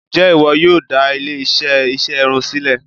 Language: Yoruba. Ǹjẹ́ ìwọ yóò dá ilé-iṣẹ́ ìṣerun sílẹ̀?